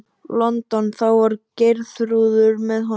London, þá var Geirþrúður með honum.